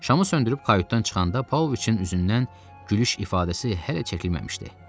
Şamı söndürüb kayutdan çıxanda Pauloviçin üzündən gülüş ifadəsi hələ çəkilməmişdi.